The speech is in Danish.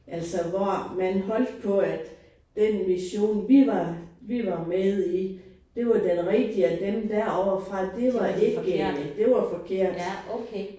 Altså hvor man holdt på at den mission vi var vi var med i det var den rigtige og dem derovre fra det var ikke det var forkert